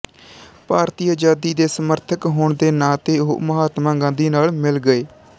ਭਾਰਤੀ ਆਜ਼ਾਦੀ ਦੇ ਸਮਰਥਕ ਹੋਣ ਦੇ ਨਾਤੇ ਉਹ ਮਹਾਤਮਾ ਗਾਂਧੀ ਨਾਲ ਮਿਲ ਗਏ